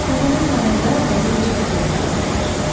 Təpənin yanında dərin bir xəndək qazdılar.